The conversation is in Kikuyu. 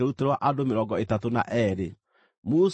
nuthu ĩrĩa yaheirwo kĩrĩndĩ ciarĩ ngʼondu 337,500,